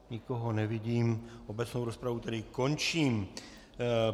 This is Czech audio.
Nikoho nevidím, obecnou rozpravu tedy končím.